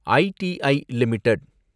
எட்டி லிமிடெட்